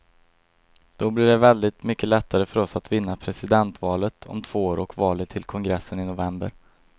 Då blir det väldigt mycket lättare för oss att vinna presidentvalet om två år och valet till kongressen i november.